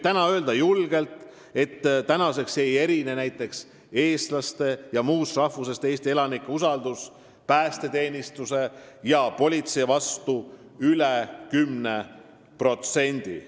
Täna võib julgelt öelda, et enam ei erine eestlaste ja muust rahvusest Eesti elanike usaldus näiteks päästeteenistuse ja politsei vastu üle 10%.